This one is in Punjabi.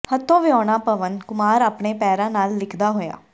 ਹੱਥੋਂ ਵਿਹੂਣਾ ਪਵਨ ਕੁਮਾਰ ਆਪਣੇ ਪੈਰਾਂ ਨਾਲ ਲਿਖਦਾ ਹੋਇਆ